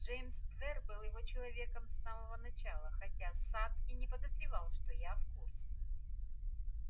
джеймс твер был его человеком с самого начала хотя сатт и не подозревал что я в курсе